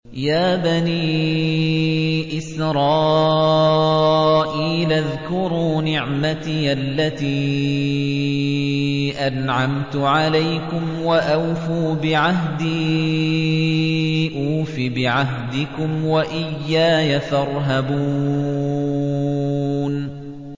يَا بَنِي إِسْرَائِيلَ اذْكُرُوا نِعْمَتِيَ الَّتِي أَنْعَمْتُ عَلَيْكُمْ وَأَوْفُوا بِعَهْدِي أُوفِ بِعَهْدِكُمْ وَإِيَّايَ فَارْهَبُونِ